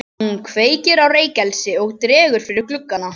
Hún kveikir á reykelsi og dregur fyrir gluggana.